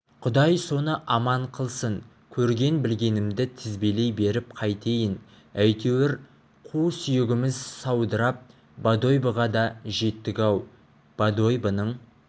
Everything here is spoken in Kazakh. құдай соны аман қылсын көрген-білгенімді тізбелей беріп қайтейін әйтеуір қу сүйегіміз саудырап бодойбоға да жеттік-ау бодойбоның